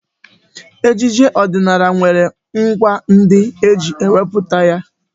Ejije ọdịnala nwere ngwá ndị eji emepụta ya..